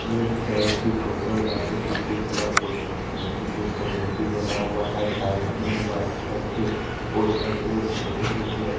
ये एक चर्च की फोटो है जहां पर जिसेश का फो जिशेष का मूर्ति बना हुआ है साइड में व्हाइट कलर के पोस्टर पे छोटे छोटे--